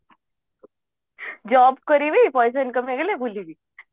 job କରିବି ପଇସା income ହେଇଗଲେ ବୁଲିବି